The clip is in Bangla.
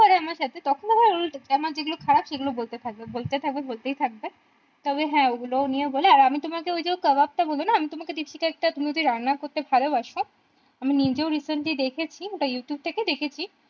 করে আমার সাথে তখন আবার আমার যে গুলো খারাপ সে গুলো বলতে থাকবে বলতে থাকবে বলতেই থাকবে তবে হ্যাঁ ঐগুলো নিয়ে ও বলে আমি তোমাকে ওই যে কাবাব টা বললো না আমি তোমাকে ওই যে কাবাব টা বললাম না আমি তোমাকে দীপশিখা একটা তুমি কি রান্না করতে ভালোবাসো আমি নিজে ও recently ওটা দেখছি ওটা youtube থেকে দেখেছি